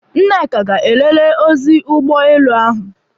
Nneka ga elelee ozi ụgbọelụ ahụ.